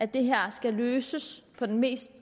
det her skal løses på den